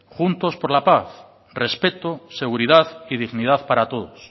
juntos por la paz respeto seguridad y dignidad para todos